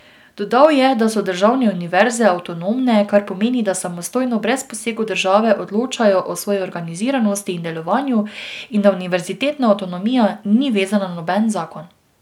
Dodal je, da so državne univerze avtonomne, kar pomeni, da samostojno, brez posegov države odločajo o svoji organiziranosti in delovanju in da univerzitetna avtonomija ni vezana na noben zakon.